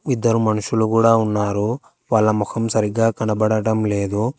ఇద్దరు మనుషులు కూడా ఉన్నారు వాళ్ళ ముఖం సరిగ్గా కనబడటం లేదు.